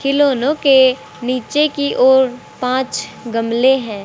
खिलौनो के नीचे की ओर पांच गमले है।